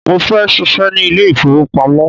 Mo fẹ́ ṣíṣe ní ilé ìfowópamọ́.